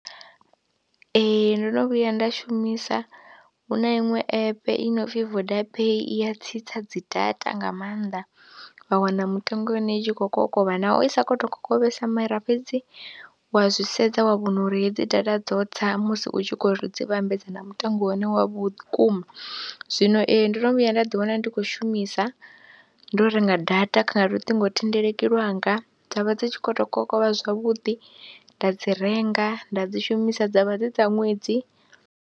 Ee, ndo no vhuya nda shumisa, hu na iṅwe app i no pfhi VodaPay i ya tsitsa dzi data nga maanḓa wa wana mutengo ya hone i tshi khou kokovha naho i sa khou tou kokovhesa mara fhedzi wa zwi sedza wa vhona uri hedzi data dzo tsa musi u tshi khou dzi vhambedza na mutengo une wa vhukuma. Zwino ee ndo no vhuya nda ḓiwana ndi khou shumisa ndo renga data kha luṱingothendeleki lwanga dza vha dzi tshi khou tou kokovha zwavhuḓi nda dzi renga, nda dzi shumisa dza vha dzi dza ṅwedzi.